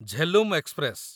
Jhelum express